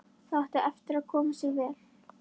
Það átti eftir að koma sér vel.